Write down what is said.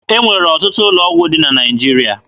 E nwere ọtụtụ ụlọ ọgwụ dị na Naịjirịa.